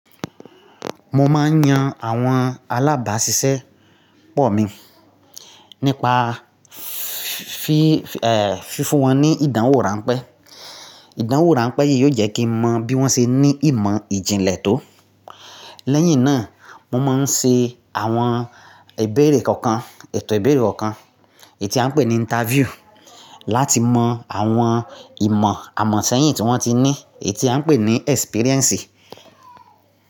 Mo máa ń yan àwọn alábàáṣiṣẹ́ pọ̀ mi nípa fífún wọn ní ìdánwò ránpẹ́. Ìdánwò ránpẹ́ yìí yóò jẹ́ kí n mọ bí wọ́n ṣe ní ìmọ̀ ìjìnlẹ̀ tó. Lẹ́yìn náà, mo máa ń ṣe àwọn ìbéèrè kọ̀ọ̀kan, ètò ìbéèrè kọ̀ọ̀kan, èyí tí a ń pè ní interview, láti mọ àwọn ìmọ̀ àmọ̀ sẹ́yìn tí wọ́n ti ní, èyí tí a ń pè ní experience.